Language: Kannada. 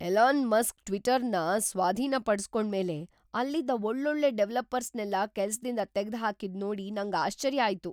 ಎಲಾನ್ ಮಸ್ಕ್ ಟ್ವಿಟರ್‌ನ ಸ್ವಾಧೀನಪಡ್ಸ್ಕೊಂಡ್ಮೇಲೆ ಅಲ್ಲಿದ್ದ ಒಳ್ಳೊಳ್ಳೆ ಡೆವಲಪರ್ಸ್‌ನೆಲ್ಲ ಕೆಲ್ಸದಿಂದ ತೆಗ್ದ್‌ಹಾಕಿದ್‌ ನೋಡಿ ನಂಗ್‌ ಆಶ್ಚರ್ಯ ಆಯ್ತು.